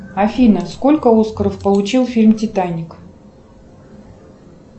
афина сколько оскаров получил фильм титаник